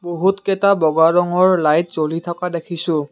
বহুতকেইটা বগা ৰঙৰ লাইট জ্বলি থকা দেখিছোঁ।